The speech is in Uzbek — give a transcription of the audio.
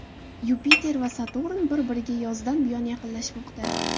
Yupiter va Saturn bir-biriga yozdan buyon yaqinlashmoqda.